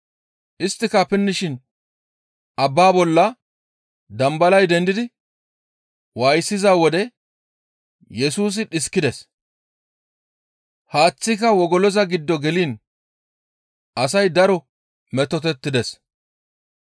Isttika pinnishin abbaa bolla dambalay dendidi waayisiza wode Yesusi dhiskides; haaththika wogoloza giddo geliin asay daro metotettides.